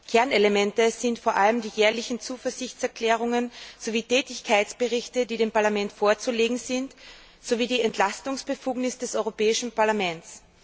Kernelemente sind vor allem die jährlichen Zuverlässigkeitserklärungen und Tätigkeitsberichte, die dem Parlament vorzulegen sind, sowie die Entlastungsbefugnis des Europäischen Parlaments.